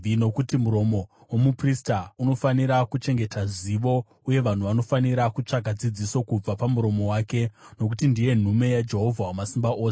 “Nokuti muromo womuprista unofanira kuchengeta zivo, uye vanhu vanofanira kutsvaka dzidziso kubva pamuromo wake, nokuti ndiye nhume yaJehovha Wamasimba Ose.